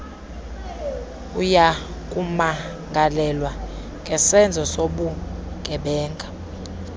uyakumangalelwa ngesenzo sobugebenga